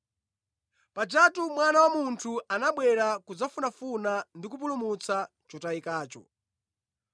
Pajatu Mwana wa Munthu anabwera kudzafunafuna ndi kupulumutsa chotayikacho.”